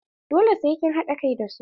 Dole sai kin haɗa kai da su!